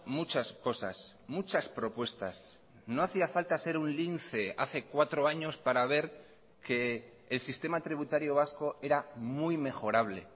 muchas cosas muchas propuestas no hacía falta ser un lince hace cuatro años para ver que el sistema tributario vasco era muy mejorable